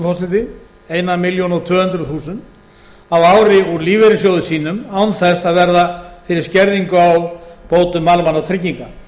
forseti eina milljón og tvö hundruð þúsund á ári úr lífeyrissjóði sínum án þess að verða fyrir skerðingu á bótum almannatrygginga